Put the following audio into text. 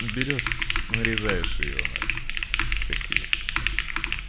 берёшь нарезаешь её на такие